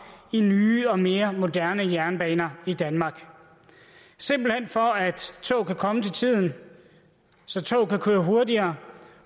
i nye og mere moderne jernbaner i danmark simpelt hen for at tog kan komme til tiden så tog kan køre hurtigere